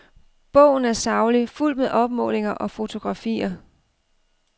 Bogen er saglig, fuldt med opmålinger og fotografier.